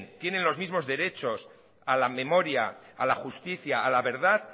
tienen los mismos derechos a la memoria a la justicia a la verdad